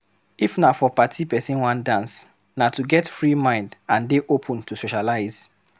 If na for party person wan dance, na to get free mind and dey open to socialize